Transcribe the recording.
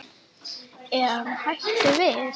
Er hann hættur við?